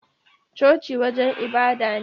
Coci wajen ibada ne